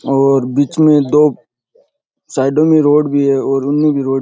और बीच में दो साइडो में रोड भी है और उनमें भी रोड --